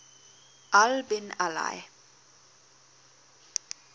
al bin ali